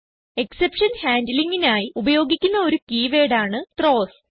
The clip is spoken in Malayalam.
എക്സെപ്ഷൻ handlingനായി ഉപയോഗിക്കുന്ന ഒരു കീവേർഡ് ആണ് ത്രോവ്സ്